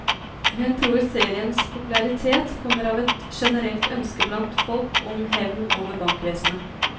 Hun tror seriens popularitet kommer av et generelt ønske blant folk om hevn over bankvesenet.